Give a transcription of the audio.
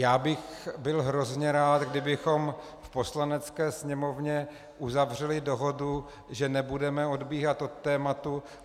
Já bych byl hrozně rád, kdybychom v Poslanecké sněmovně uzavřeli dohodu, že nebudeme odbíhat od tématu.